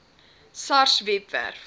sars webwerf